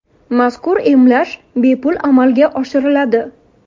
Mazkur emlash bepul amalga oshiriladi.